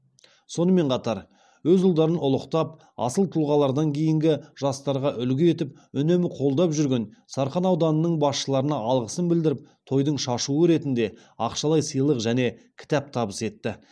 сонымен қатар өз ұлдарын ұлықтап асыл тұлғаларын кейінгі жастарға үлгі етіп үнемі қолдап жүрген сарқан ауданының басшыларына алғысын білдіріп тойдың шашуы ретінде ақшалай сыйлық және кітап табыс етті